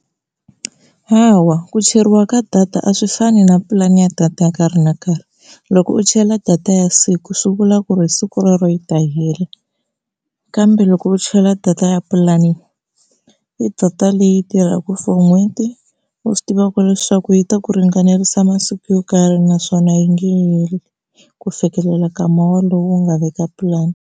Hawa ku cheriwa ka data a swi fani na pulani ya data ya nkarhi na nkarhi, loko u chela data ya siku swi vula ku ri hi siku rero yi ta hela. Kambe loko u chela data ya pulani i data leyi tirhaka for n'hweti u swi tivaka leswaku yi ta ku ringanelisa masiku yo karhi naswona yi nga heli ku fikelela ka muholo u nga veka pulani.